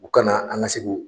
U ka na an ka se k'o